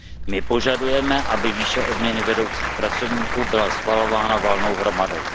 My požadujeme, aby výše odměny vedoucích pracovníků byla schvalována valnou hromadou.